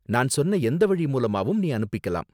நான் சொன்ன எந்த வழி மூலமாவும் நீ அனுப்பிக்கலாம்.